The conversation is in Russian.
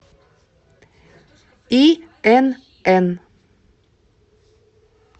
инн